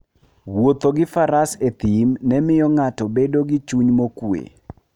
Wuotho gi faras e thim ne miyo ng'ato bedo gi chuny mokuwe.